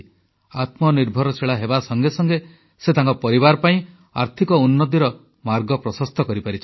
ଆତ୍ମନିର୍ଭରଶୀଳ ହେବା ସଙ୍ଗେ ସଙ୍ଗେ ସେ ତାଙ୍କ ପରିବାର ପାଇଁ ଆର୍ଥିକ ଉନ୍ନତିର ମାର୍ଗ ପ୍ରଶସ୍ତ କରିପାରିଛନ୍ତି